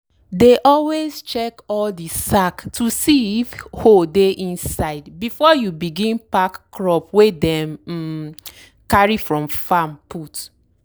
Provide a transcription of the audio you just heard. dey always check all de sack to see if hole dey inside before you begin pack crop wey dem um carry from farm put.